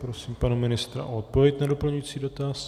Prosím pana ministra o odpověď na doplňující dotaz.